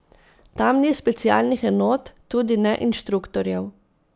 Tam ni specialnih enot, tudi ne inštruktorjev.